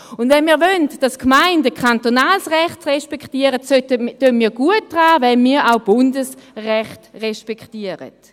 Wenn wir wollen, dass die Gemeinden kantonales Recht respektieren, tun wir gut daran, wenn wir auch Bundesrecht respektieren.